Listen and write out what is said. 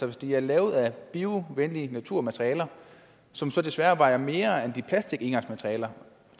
hvis de er lavet af biovenlige naturmaterialer som så desværre vejer mere end plastikengangsmaterialerne